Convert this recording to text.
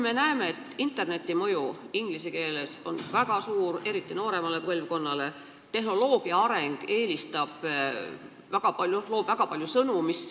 Me näeme, et internetis on inglise keele mõju väga suur, eriti nooremale põlvkonnale, ja seoses tehnoloogia arenguga luuakse väga palju sõnu.